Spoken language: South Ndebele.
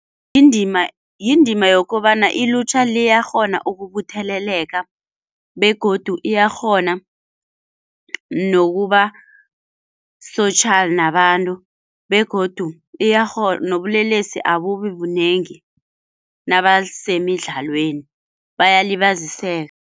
Yindima yindima yokobana ilutjha liyakghona ukubutheleleka begodu iyakghona nokuba-social nabantu begodu nobulelesi abubi bunengi nabasemidlalweni bayalibaziseka.